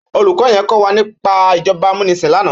Ólúkò yèn kòwá nipá ijòbá àmúnisín làná